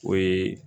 O ye